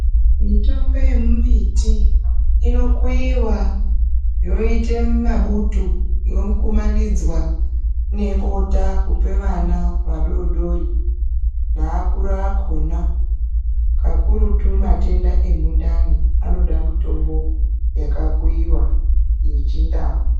Mitombo yembiti inokuiwa yoita mabutu yokumanidzwa nebota kupe vana vadodori neakuru akhona kakurutu matenda emundani anoda mitombo yakakuiwa yechindau.